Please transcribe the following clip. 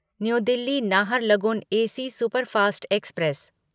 new Delhi Naharlagun AC superfast express